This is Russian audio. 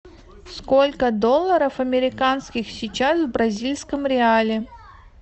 сколько долларов американских сейчас в бразильском реале